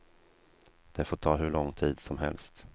Det får ta hur lång tid som helst.